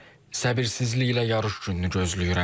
Səbirsizliklə yarış gününü gözləyirəm.